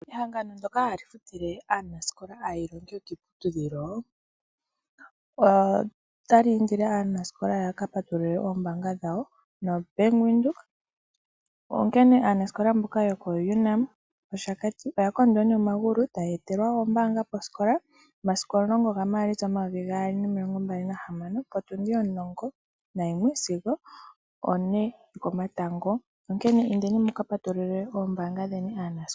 Ehangano ndjoka hali futile aanasikola aayilongi mboka yeli kiiputudhilo otali indile aanasikola yaka patulule oombanga dhawo noBank Windhoek. Onkene aanasikola mboka yoko UNAM Oshakati Campus oya kondwa nee omagulu taa ye etelwa ombanga posikola omasiku omulongo gaMaalitsa omayovi omilongo mbali nagahamano omulongo nayimwe sigo one yokomatango. Onkene indeni muka patulule ombanga dheni aanasikola.